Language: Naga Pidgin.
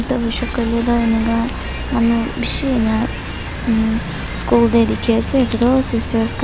edu hoishey koilae tu enika manu bishi ena um school tae dikhiase edu toh sisters khan--